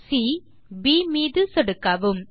C B மீது சொடுக்கவும்